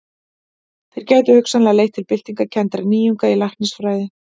Þær gætu hugsanlega leitt til byltingarkenndra nýjunga í læknisfræði.